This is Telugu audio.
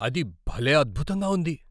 అది భలే అద్భుతంగా ఉంది!